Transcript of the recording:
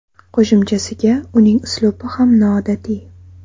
Qo‘shimchasiga uning uslubi ham noodatiy.